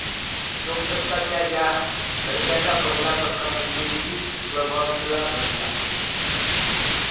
लोकसत्ता च्या या धडक्याचा पहिला फटका मुंबईतील प्रभातला बसला